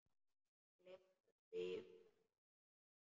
Gleymt öllu í bræði sinni.